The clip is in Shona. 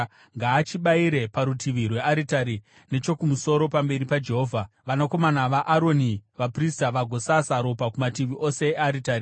Ngaachibayire parutivi rwearitari nechokumusoro pamberi paJehovha, vanakomana vaAroni vaprista vagosasa ropa kumativi ose earitari.